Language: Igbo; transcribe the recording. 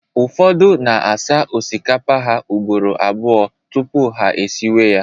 ụfọdụ na asa osikapa ha ugboro abụọ tupu ha esiwe ya